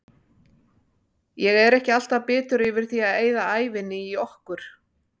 Ég er ekki alltaf bitur yfir því að eyða ævinni í okkur.